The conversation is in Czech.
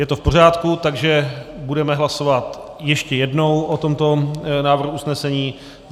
Je to v pořádku, takže budeme hlasovat ještě jednou o tomto návrhu usnesení.